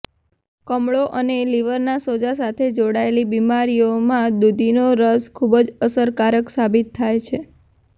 કમળો અને લીવરના સોજા સાથે જોડાયેલી બીમારીઓમાં દૂધીનો રસ ખૂબ અસરકારક સાબિત થાય છે